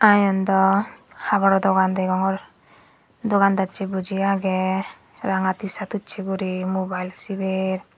aa eyan dw haboro dogan degongor dogan dachi boji agey rang tshirt uchi guri mobile siber.